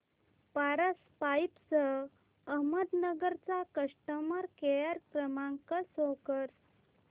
Paras pipes Ahmednagar चा customer care क्रमांक show करा